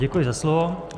Děkuji za slovo.